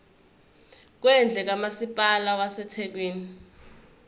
kwendle kamasipala wasethekwini